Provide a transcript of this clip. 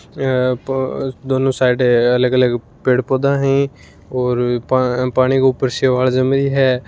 या पा दोनों साइड अलग अलग पेड़ पोधा है और पा पानी के ऊपर शेवाल जमी है।